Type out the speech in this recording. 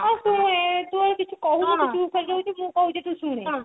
ଏ ଶୁଣୁ ତୁ ଆଉ କିଛି କହୁନୁ ତୁ ଚୁପ ହେଇ ଯାଉଛୁ ମୁଁ କହୁଛି ତୁ ଶୁଣେ